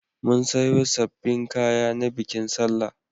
Mun sayo sabbin kaya na bikin sallah.